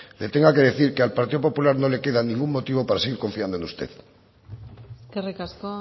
le tenga que decir que al partido popular no le queda ningún motivo para seguir confiando en usted eskerrik asko